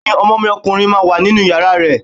Bẹ́ẹ̀ni, ọmọ mi ọkùnrin wà nínú yàrá rẹ